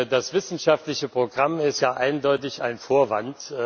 Das wissenschaftliche Programm ist ja eindeutig ein Vorwand.